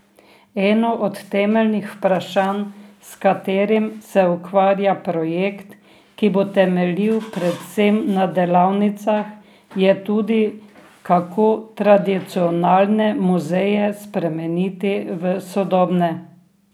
Eno od temeljnih vprašanj, s katerim se ukvarja projekt, ki bo temeljil predvsem na delavnicah, je tudi, kako tradicionalne muzeje spremeniti v sodobne.